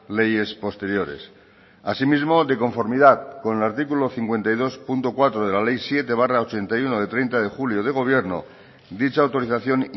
leyes posteriores asimismo de conformidad con el artículo cincuenta y dos punto cuatro de la ley siete barra ochenta y uno de treinta de julio de gobierno dicha autorización